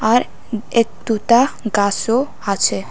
আর একটু তা গাছও আছে।